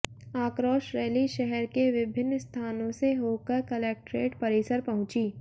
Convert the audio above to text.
आक्रोश रैली शहर के विभिन्न स्थानों से होकर कलेक्ट्रेट परिसर पहुंची